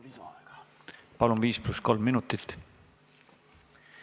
Palun, viis pluss kolm minutit!